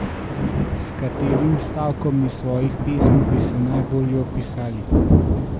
S katerim stavkom iz svojih pesmi bi se najbolje opisali?